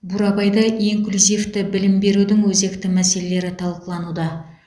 бурабайда инклюзивті білім берудің өзекті мәселелері талқылануда